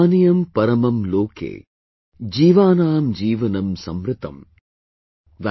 Paniyam paramam loke, jeevaanaam jeevanam samritam ||